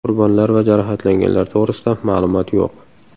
Qurbonlar va jarohatlanganlar to‘g‘risida ma’lumot yo‘q.